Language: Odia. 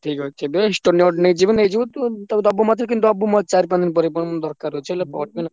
ଠିକ୍ ଅଛି best ତୁ note ନେଇଯିବୁ ।